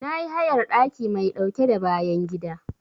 Na yi hayar ɗaki mai ɗauke da bayan gida.